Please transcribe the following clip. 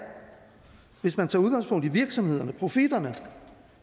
hvis man tager udgangspunkt i virksomhederne profitterne